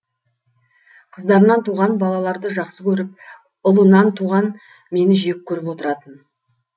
қыздарынан туған балаларды жақсы көріп ұлынан туған мені жек көріп отыратын